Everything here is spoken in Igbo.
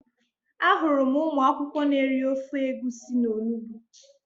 Ahụrụ m ụmụ akwụkwọ n'eri ofe egusi na onugbu